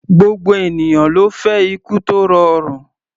Gbogbo ènìyàn ló fẹ́ ikú tó rọrùn.